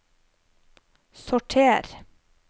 sorter